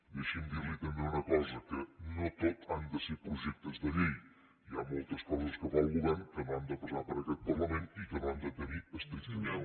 deixi’m dir li també una cosa que no tot han de ser projectes de llei hi ha moltes coses que fa el govern que no han de passar per aquest parlament i que no han de tenir estrictament